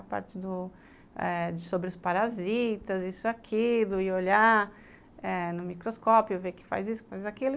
A parte do eh... sobre os parasitas, isso, aquilo, e olhar no microscópio, ver o que faz isso, faz aquilo.